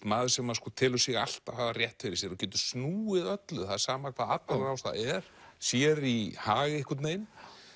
maður sem að sko telur sig alltaf hafa rétt fyrir sér og getur snúið öllu það er sama hvaða atburðarás það er sér í hag einhvern veginn